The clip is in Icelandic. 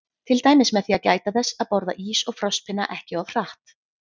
Til dæmis með því að gæta þess að borða ís og frostpinna ekki of hratt.